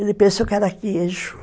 Ele pensou que era queijo.